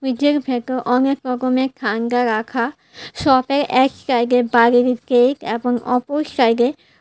ফ্রিজের ভেতর অনেক রকমের ঠান্ডা রাখা শপের এক সাইডে বাড়ির গেট এবং অপর সাইডে--